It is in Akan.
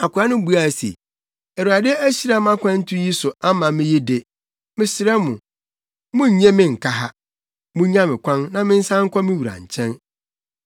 Akoa no buaa wɔn se, “ Awurade ahyira mʼakwantu yi so ama me yi de, mesrɛ mo, monnnye me nnka ha. Munnya me kwan, na mensan nkɔ me wura nkyɛn.”